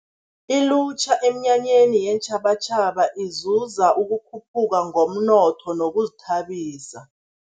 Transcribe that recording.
Ilutjha eminyanyeni yeentjhabatjhaba, izuza ukukhuphuka ngomnotho nokuzithabisa.